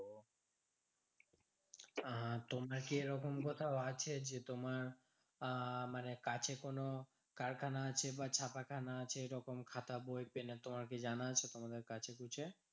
আহ তোমার কি এরকম কোথাও আছে যে তোমার আহ মানে কাছে কোনো কারখানা আছে বা ছাপাখানা আছে ঐরকম খাতা বই পেন তোমার কি জানা আছে তোমাদের কাছেপিঠে?